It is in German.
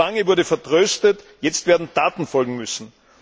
Zu lange wurde vertröstet, jetzt werden Taten folgen müssen.